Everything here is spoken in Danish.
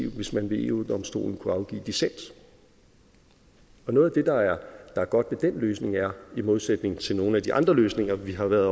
hvis man ved eu domstolen kunne afgive dissens noget af det der er godt ved den løsning er i modsætning til nogle af de andre løsninger vi har været